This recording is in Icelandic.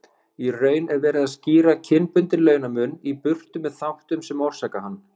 Í raun er verið að skýra kynbundinn launamun í burtu með þáttum sem orsaka hann.